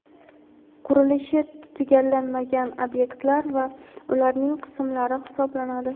qurilishi tugallanmagan ob’ekt(lar) va u(lar)ning qism(lar)i hisoblanadi.